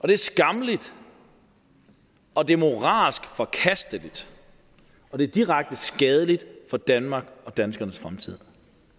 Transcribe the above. det er skammeligt og det er moralsk forkasteligt og det er direkte skadeligt for danmark og danskernes fremtid